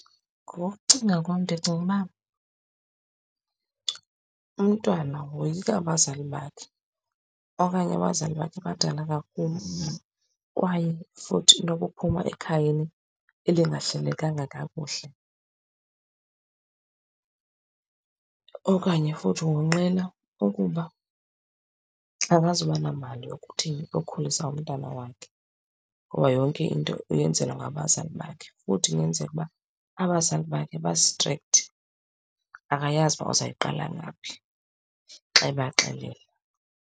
Ngokokucinga kwam ndicinga uba umntwana woyika abazali bakhe, okanye abazali bakhe badala kakhulu kwaye futhi into okuphuma ekhayeni elingahlelekanga kakuhle. Okanye futhi wonqena ukuba akazuba namali yokuthini, yokukukhulisa umntana wakhe ngoba yonke into uyenzelwa ngabazali bakhe. Futhi ingenzeka uba abazali bakhe ba-strict, akayazi uba uzayiqala ngaphi xa ebaxelela.